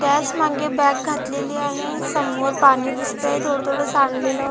त्याच मागे बॅग घातलेली आहे समोर पाणी दिसत आहे थोड थोड सांडलेल.